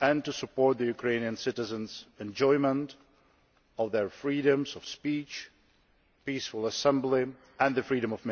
and to support Ukrainian citizens' enjoyment of their freedoms of speech and peaceful assembly, as well as media freedom.